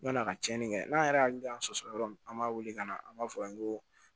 Yann'a ka cɛnni kɛ n'an yɛrɛ hakili y'an sɔsɔ yɔrɔ min an b'a wele ka na an b'a fɔ a ye ko